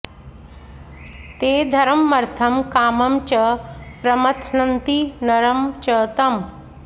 ते धर्ममर्थं कामं च प्रमथ्नन्ति नरं च तम्